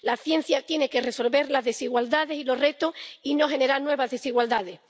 La ciencia tiene que resolver las desigualdades y los retos y no generar nuevas desigualdades.